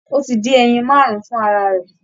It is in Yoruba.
Ó ti dín ẹyin máàrún fún ara rẹ̀